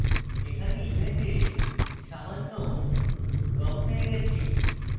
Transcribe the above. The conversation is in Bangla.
এখানে image সামান্য রঙ পেয়ে গেছি